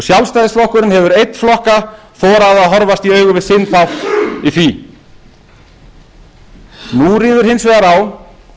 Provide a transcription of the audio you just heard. sjálfstæðisflokkurinn hefur einn flokka þorað að horfast í augu við sinn þátt í því nú ríður hins vegar á